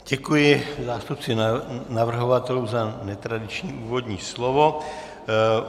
Děkuji zástupci navrhovatelů za netradiční úvodní slovo.